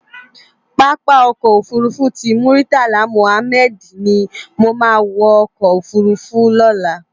Pàápá Òkò Ófúrúfú ti Múritálá Múhámèd ni mó má wò òkò ófúrúfú lòlá